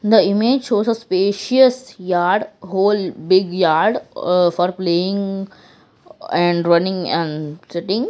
the image shows a spacious yard whole big yard uhh for playing a-and running and sitting.